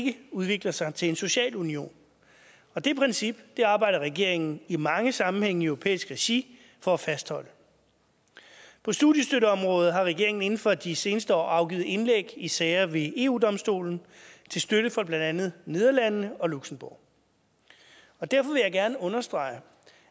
ikke udvikler sig til en social union og det princip arbejder regeringen i mange sammenhænge i europæisk regi for at fastholde på studiestøtteområdet har regeringen inden for de seneste år afgivet indlæg i sager ved eu domstolen til støtte for blandt andet nederlandene og luxembourg derfor vil jeg gerne understrege